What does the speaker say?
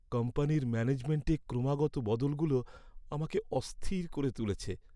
কোম্পানির ম্যানেজমেন্টে ক্রমাগত বদলগুলো আমাকে অস্থির করে তুলেছে।